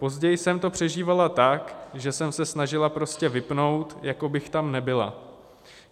Později jsem to přežívala tak, že jsem se snažila prostě vypnout, jako bych tam nebyla.